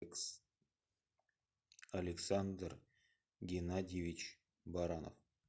александр геннадьевич баранов